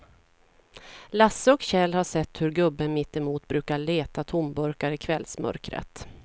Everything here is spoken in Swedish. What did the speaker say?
Lasse och Kjell har sett hur gubben mittemot brukar leta tomburkar i kvällsmörkret.